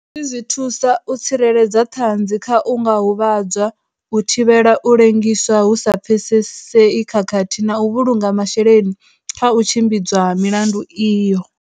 Hezwi zwi thusa u tsireledza ṱhanzi kha u nga huvhadzwa, u thivhela u lengiswa hu sa pfesesei khathihi na u vhulunga masheleni kha u tshimbidzwa ha milandu iyo.